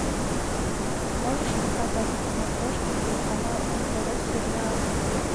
можешь показать на смотрешке телеканал нтв сериал